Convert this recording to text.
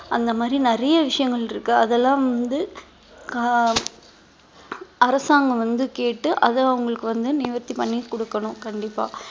அந்த மாதிரி நிறைய விஷயங்கள் இருக்கு அதெல்லாம் வந்து ஆஹ் அரசாங்கம் வந்து கேட்டு அதை அவங்களுக்கு வந்து நிவர்த்தி பண்ணி கொடுக்கணும் கண்டிப்பா